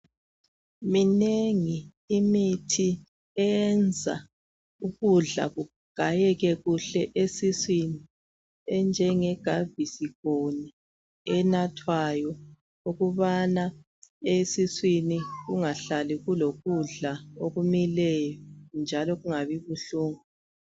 Minengi imithi eyenza ukudla kugayeke kuhle esiswini. Enjenge gavisikhoni enathwayo, ukubana esiswini kungahlali kulokudla okumileyo njalo kungabi buhlungu.